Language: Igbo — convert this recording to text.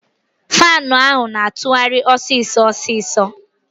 Faanu ahụ na-atụgharị ọsịsọ ọsịsọ.